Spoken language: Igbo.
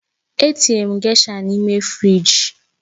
Etinyere m gésha n'ime fịrij